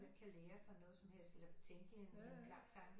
Ikke kan lære sig noget som helst eller tænke en klar tanke